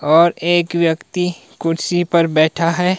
और एक व्यक्ति कुर्सी पर बैठा है।